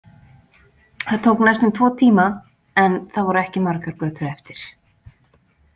Það tók næstum tvo tíma en það voru ekki margar götur eftir.